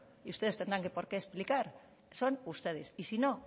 y ustedes tendrán que por qué explicar son ustedes y si no